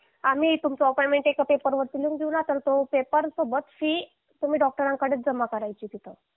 आम्ही तुमचं अपॉइंटमेंट एका पेपर वरती लिहून देऊ ना तर तो पेपर सोबत फी तुम्ही डॉक्टरांकडे जमा करायची तिथं